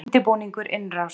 Undirbúningur innrásar